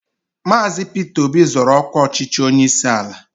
Maazi Peter Obi zoro ọkwa ọchịchị onyeisi ala